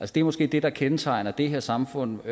det er måske det der kendetegner det her samfund